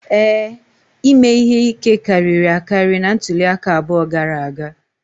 Ee, ime ihe ike karịrị akarị na ntuli aka abụọ gara aga